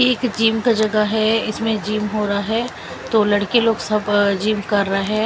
एक जिम का जगह है इसमें जिम हो रहा है तो लड़के लोग सब जिम कर रहे है।